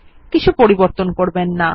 কিছু পরিবর্তন করবেন না